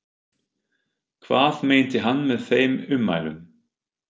Hvað meinti hann með þeim ummælum?